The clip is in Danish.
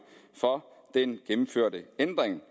for den gennemførte ændring